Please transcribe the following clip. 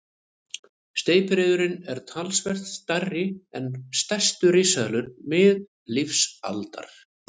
Steypireyðurin er talsvert stærri en stærstu risaeðlur miðlífsaldar.